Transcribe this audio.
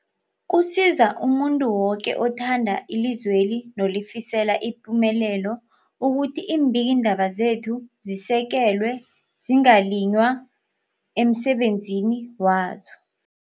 Kusiza umuntu woke othanda ilizweli nolifisela ipumelelo ukuthi iimbikiindaba zekhethu zisekelwe, zingaliywa emsebenzini wazo.